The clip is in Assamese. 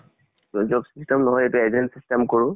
job system নহয় এইটো, agent system কৰো।